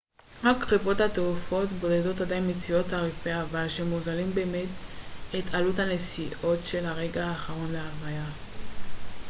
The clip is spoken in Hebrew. רק חברות תעופה בודדות עדיין מציעות תעריפי אבל שמוזילים במעט את עלות הנסיעות של הרגע האחרון להלוויה